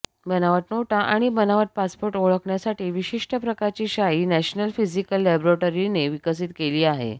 बनावट नोटा आणि बनावट पासपोर्ट ओळखण्यासाठी विशिष्ट प्रकारची शाई नॅशनल फिजिकल लॅबेरोटरीने विकसित केली आहे